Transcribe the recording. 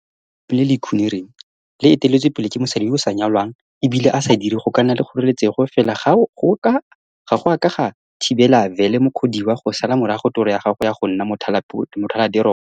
Go golela mo lelapeng le le ikgonereng, le eteletswepele ke mosadi yo o sa nyalwanag e bile a sa dire go ka nna le kgoreletso fela ga go a ka ga thibela Vele Mukhodiwa go sala morago toro ya gagwe ya go nna mothalateropo.